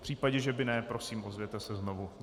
V případě, že by ne, prosím, ozvěte se znovu.